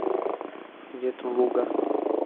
ветлуга